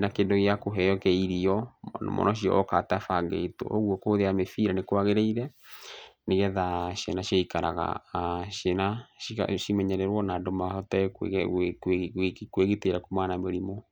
na kĩndũ gĩa kũheo kĩa irio, mwana ũcio oka atabangĩtwo. Ũguo kũhũthĩra mĩbira nĩ kwagĩrĩire nĩgetha ciana cigaikaraga, ciĩna cimenyererwo na andũ mahote kwĩgitĩra kumana na mĩrimũ.